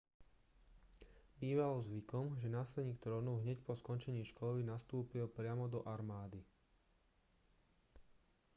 bývalo zvykom že následník trónu hneď po skončení školy nastúpil priamo do armády